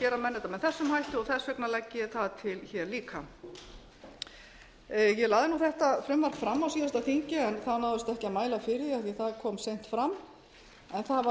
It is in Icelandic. gera menn þetta með þessum hætti og þess vegna legg ég það til hér líka ég lagði þetta frumvarp fram á síðasta þingi en það náðist ekki að mæla fyrir því af því að það kom seint fram en það var